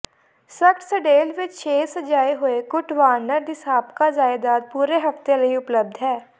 Scottsdale ਵਿਚ ਛੇ ਸਜਾਏ ਹੋਏ ਕੁਟ ਵਾਰਨਰ ਦੀ ਸਾਬਕਾ ਜਾਇਦਾਦ ਪੂਰੇ ਹਫ਼ਤੇ ਲਈ ਉਪਲਬਧ ਹੈ